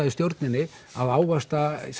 í stjórninni að ávaxta